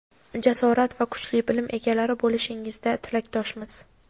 jasorat va kuchli bilim egalari bo‘lishingizda tilakdoshmiz.